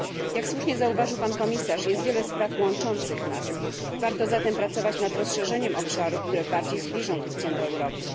Jak słusznie zauważył pan komisarz, jest wiele spraw łączących nas, warto zatem pracować nad rozszerzeniem obszarów, które bardziej zbliżą Turcję do Europy.